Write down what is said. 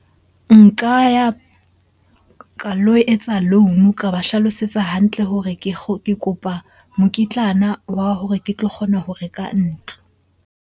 Nka ya ka lo etsa loan-o ka ba hlalosetsa hantle hore ke ke kopa mokitlana wa hore ke tlo kgona ho reka ntlo.